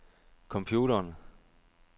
computeren